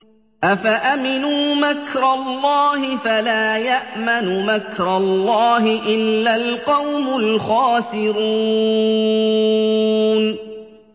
أَفَأَمِنُوا مَكْرَ اللَّهِ ۚ فَلَا يَأْمَنُ مَكْرَ اللَّهِ إِلَّا الْقَوْمُ الْخَاسِرُونَ